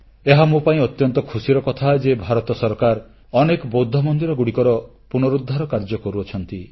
ଏହା ମୋପାଇଁ ଅତ୍ୟନ୍ତ ଖୁସିର କଥା ଯେ ଭାରତ ସରକାର ଅନେକ ବୌଦ୍ଧ ମନ୍ଦିରଗୁଡ଼ିକର ପୁନରୁଦ୍ଧାର କାର୍ଯ୍ୟ କରୁଅଛନ୍ତି